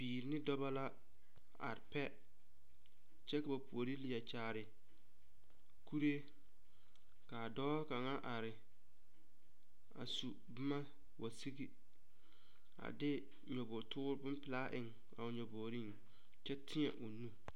Bibiiri ne dɔba la are pɛ kyɛ ba puori leɛ kyaare kuree ka a dɔɔ kaŋa are a su boma wa sigi a de nyɔbogretoor bonpelaa eŋ a o nyɔbogreŋ kyɛ teɛ o nu.